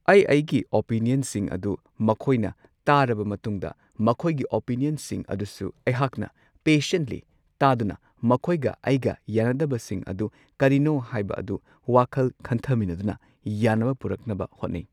ꯑꯩ ꯑꯩꯒꯤ ꯑꯣꯄꯤꯅꯤꯌꯟꯁꯤꯡ ꯑꯗꯨ ꯃꯈꯣꯏꯅ ꯇꯥꯔꯕ ꯃꯇꯨꯡꯗ ꯃꯈꯣꯏꯒꯤ ꯑꯣꯄꯤꯅꯤꯌꯟꯁꯤꯡ ꯑꯗꯨꯁꯨ ꯑꯩꯍꯥꯛꯅ ꯄꯦꯁꯦꯟꯠꯂꯤ ꯇꯥꯗꯨꯅ ꯃꯈꯣꯏꯒ ꯑꯩꯒ ꯌꯥꯟꯅꯗꯕꯁꯤꯡ ꯑꯗꯨ ꯀꯔꯤꯅꯣ ꯍꯥꯏꯕ ꯑꯗꯨ ꯋꯥꯈꯜ ꯈꯟꯊꯃꯤꯟꯅꯗꯨꯅ ꯌꯥꯟꯅꯕ ꯄꯨꯔꯛꯅꯕ ꯍꯣꯠꯅꯩ꯫